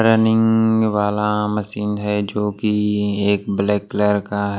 running वाला machine है जो कि एक ब्लैक कलर का--